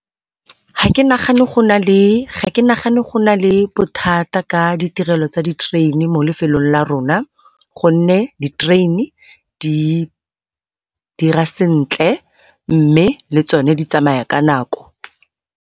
ha ke nagane go na le bothata ka ditirelo tsa di-train-e mo lefelong la rona, gonne di-train-e di dira sentle mme le tsone di tsamaya ka nako.